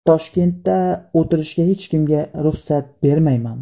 Toshkentda o‘tirishga hech kimga ruxsat bermayman.